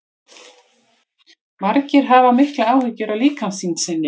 margir hafa miklar áhyggjur af líkamsþyngd sinni